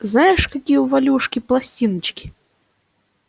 знаешь какие у валюшки пластиночки